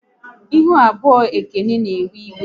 Ihu abụọ Ekene na ewe iwe